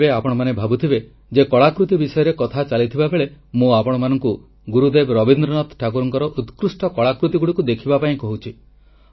ଏବେ ଆପଣମାନେ ଭାବୁଥିବେ ଯେ କଳାକୃତି ବିଷୟରେ କଥା ଚାଲିଥିବା ବେଳେ ମୁଁ ଆପଣମାନଙ୍କୁ ଗୁରୁଦେବ ରବୀନ୍ଦ୍ରନାଥ ଠାକୁରଙ୍କ ଉତ୍କୃଷ୍ଟ କଳାକୃତିଗୁଡ଼ିକୁ ଦେଖିବା ପାଇଁ କହୁଛି